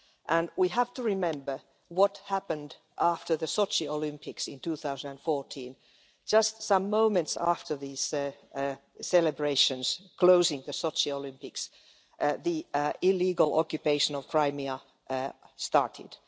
And we have to remember what happened after the Sochi Olympics in 2014 just some moments after these celebrations closing the Sochi Olympics, the illegal occupation of Crimea started.